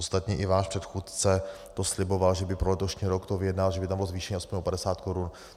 Ostatně i váš předchůdce to sliboval, že by pro letošní rok to vyjednal, že by tam bylo zvýšení aspoň o 50 korun.